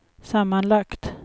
sammanlagt